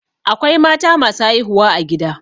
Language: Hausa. Akwai mata masu haihuwa a gida.